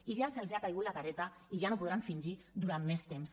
i ja els ha caigut la careta i ja no podran fingir durant més temps